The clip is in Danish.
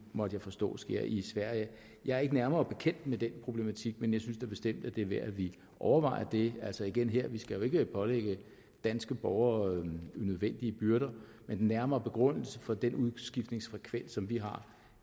måtte jeg forstå sker i sverige jeg er ikke nærmere bekendt med den problematik men jeg synes da bestemt at det er værd at vi overvejer det altså igen her vi skal jo ikke pålægge danske borgere unødvendige byrder men den nærmere begrundelse for den udskiftningsfrekvens som vi har